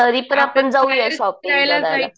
तरीपण आपण जाऊया शॉपिंग करायला.